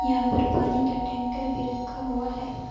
यहां पर पानी का टैंकर भी रखा हुआ है।